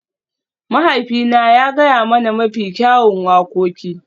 Mahaifina ya gaya mana mafi kyawun wakoki.